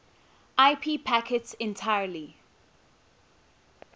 ip packets entirely